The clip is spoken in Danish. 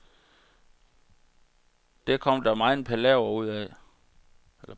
Det kom der megen palaver ud af.